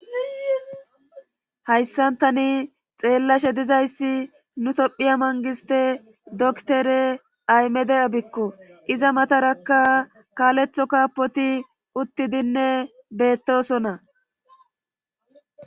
hayssantani xeellashe dizayssi nu tophiya mangiste doktere aymede abikko iza matarakka kaaletho kaapoti uttidinne bettoosona